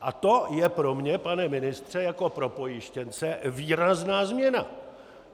A to je pro mě, pane ministře, jako pro pojištěnce výrazná změna.